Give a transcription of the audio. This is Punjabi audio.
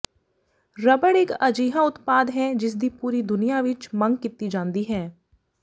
ਰਬੜ ਇਕ ਅਜਿਹਾ ਉਤਪਾਦ ਹੈ ਜਿਸਦੀ ਪੂਰੀ ਦੁਨੀਆ ਵਿਚ ਮੰਗ ਕੀਤੀ ਜਾਂਦੀ ਹੈ